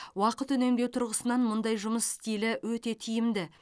уақыт үнемдеу тұрғысынан мұндай жұмыс стилі өте тиімді